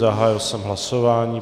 Zahájil jsem hlasování.